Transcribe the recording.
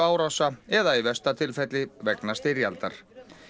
tölvuárása eða í versta tilfelli vegna styrjaldar